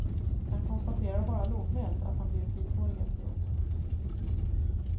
Han konstaterar bara lågmält att han blivit vithårig efteråt.